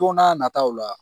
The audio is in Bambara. Don n'a nataw la